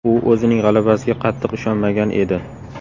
U o‘zining g‘alabasiga qattiq ishonmagan edi.